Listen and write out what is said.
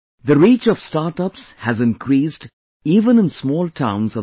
The reach of startups has increased even in small towns of the country